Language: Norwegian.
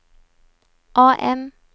AM